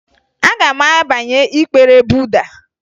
Aga m abanye ịkpere Buda